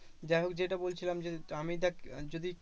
যাইহোক যেটা বলছিলাম যে আমি দেখ যদি